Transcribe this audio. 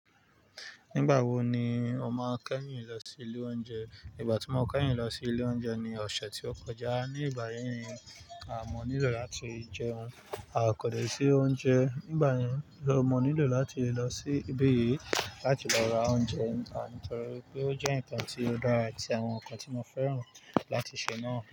Nígbà wo ni o máa kẹ́yìn lọ sí ilé oúnjẹ? Ìgbà tí mo kẹ́yìn lọ sí ilé oúnjẹ ni ọ̀sẹ̀ tí ó kọjá. Ní ìgbà yí, à, mo nílò láti jẹun. A ko dẹ̀ sí oúnjẹ. Nígbà yẹn, mo nílò láti lọ sí ibí yìí láti lọ ra oúnjẹ níta nítorí wí pé ó jẹ́ nnkàn tí ó dára àti àwọn nǹkan tí mo fẹ́ràn láti ṣe náà.